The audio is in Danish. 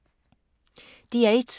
DR1